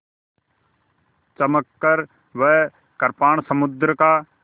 चमककर वह कृपाण समुद्र का